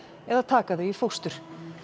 eða taka þau í fóstur